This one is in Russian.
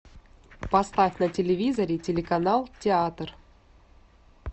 поставь на телевизоре телеканал театр